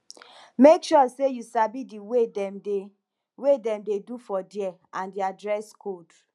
make sure say you sabi the way dem de way dem de do for there and their dress code